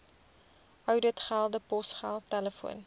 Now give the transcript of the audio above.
ouditgelde posgeld telefoon